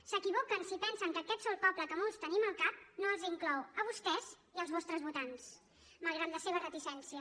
s’equivoquen si pensen que aquest sol poble que molts tenim al cap no els inclou a vostès i als vostres votants malgrat la seva reticència